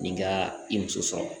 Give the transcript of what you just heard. Nin ka i muso sɔrɔ